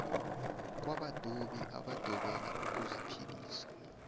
kwabadobi abadobela ukuziphilisa